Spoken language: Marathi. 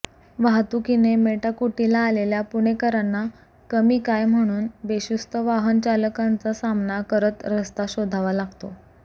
वाहतुकीने मेटाकुटीला आलेल्या पुणेकरांना कमी काय म्हणून बेशिस्त वाहन चालकांचा सामना करत रस्ता शोधावा लागतो